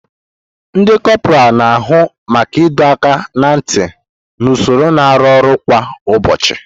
Ndi kopuralu na-ahụ maka ịdọ aka ná ntị na usoro na arụ ọrụ kwa ụbọchị.